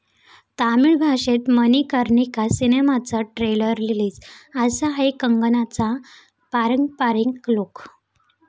तामिळ भाषेत मणिकर्णिका सिनेमाचं trailer release, 'असा' आहे कंगनाचा पारंपारिक लुक